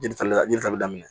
Jɛntali yiri tali daminɛ